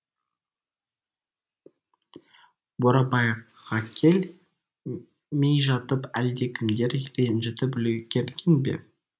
бурабайғакел мей жатып әлдекімдер ренжітіп үлгерген бе